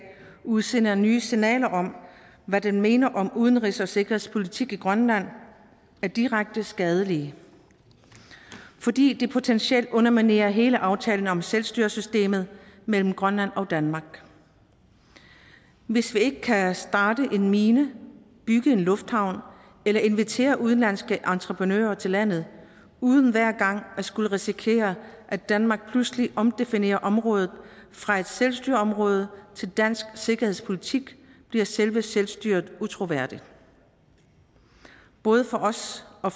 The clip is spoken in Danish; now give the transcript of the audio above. udsender nye signaler om hvad den mener om udenrigs og sikkerhedspolitik i grønland er direkte skadelig fordi det potentielt underminerer hele aftalen om selvstyresystemet mellem grønland og danmark hvis vi ikke kan starte en mine bygge en lufthavn eller invitere udenlandske entreprenører til landet uden hver gang at skulle risikere at danmark pludselig omdefinerer området fra et selvstyreområde til dansk sikkerhedspolitik bliver selve selvstyret utroværdigt både for os og